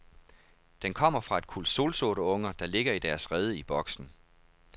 Den kommer fra et kuld solsorteunger, der ligger i deres rede i boksen.